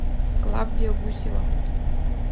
клавдия гусева